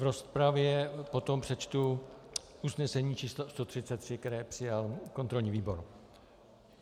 V rozpravě potom přečtu usnesení č. 133, které přijal kontrolní výbor.